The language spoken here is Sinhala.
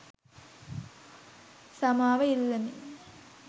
සමාව ඉල්ලමි.